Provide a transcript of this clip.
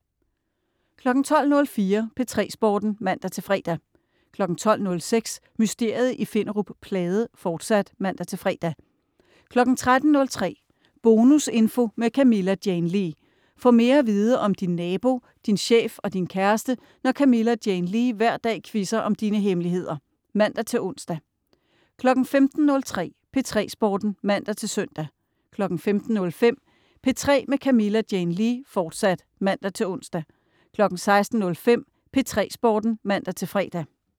12.04 P3 Sporten (man-fre) 12.06 Mysteriet i Finderup Plade, fortsat (man-fre) 13.03 Bonusinfo med Camilla Jane Lea. Få mere at vide om din nabo, din chef og din kæreste, når Camilla Jane Lea hver dag quizzer om dine hemmeligheder (man-ons) 15.03 P3 Sporten (man-søn) 15.05 P3 med Camilla Jane Lea, fortsat (man-ons) 16.05 P3 Sporten (man-fre)